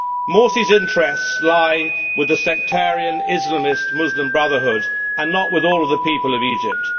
Morsi's interests lie with the sectarian Islamist Muslim Brotherhood and not with all of the people of Egypt.